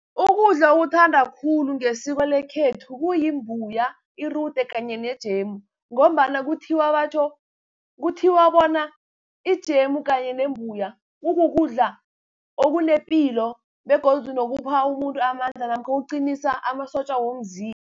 Ukudla okuthandwa khulu ngesiko lekhethu, kuyimbuya, irude kanye nejemu, ngombana kuthiwa bona ijemu kanye nembuya kukukudla okunepilo, begodu nokupha umuntu amandla, namkha okuqinisa amasotja womzimba.